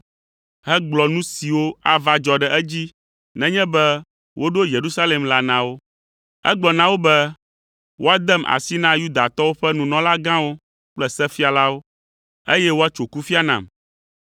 hegblɔ nu siwo ava dzɔ ɖe edzi nenye be woɖo Yerusalem la na wo. Egblɔ na wo be, “Woadem asi na Yudatɔwo ƒe nunɔlagãwo kple sefialawo, eye woatso kufia nam.